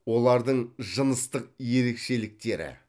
олардың жыныстық ерекшеліктері